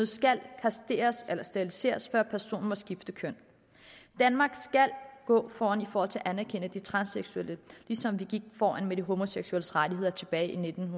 skal steriliseres før personen må skifte køn danmark skal gå foran for at anerkende de transseksuelle ligesom vi gik foran med de homoseksuelles rettigheder tilbage i nitten